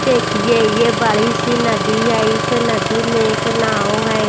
देखिए ये बड़ी सी नदी है इस नदी में एक नाव है।